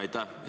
Aitäh!